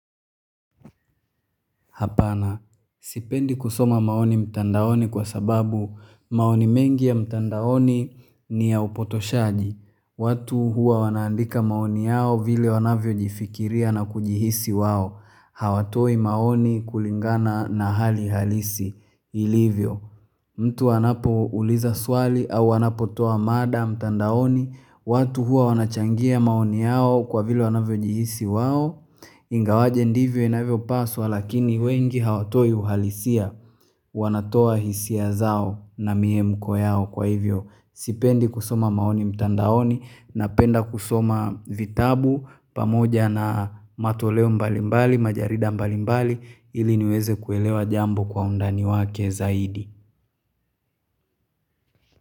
Hapana, sipendi kusoma maoni mtandaoni kwa sababu maoni mengi ya mtandaoni ni ya upotoshaji. Watu huwa wanaandika maoni yao vile wanavyo jifikiria na kujihisi wao. Hawatoi maoni kulingana na hali halisi ilivyo. Mtu anapo uliza swali au wanapotoa mada mtandaoni. Watu hua wanachangia maoni yao kwa vile wanavyo jihisi wao. Ingawaje ndivyo inavyo paswa lakini wengi hawatoi uhalisia wanatoa hisia zao na mie mko yao kwa hivyo Sipendi kusoma maoni mtandaoni na penda kusoma vitabu pamoja na matoleo mbali mbali, majarida mbali mbali ili niweze kuelewa jambo kwa undani wake zaidi.